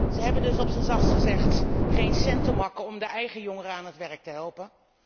Ze hebben dus op zijn zachtst gezegd geen cent te makken om hun eigen jongeren aan het werk te helpen.